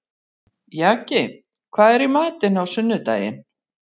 Jaki, hvað er í matinn á sunnudaginn?